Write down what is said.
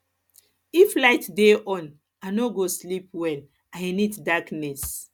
if light dey on i no go sleep well i need darkness